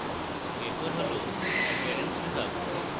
এরপর হল appearance বিভাগ